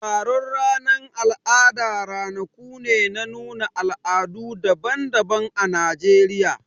Taron ranan al'ada ranaku ne na nuna al'adu daban-daban ã Najeriya.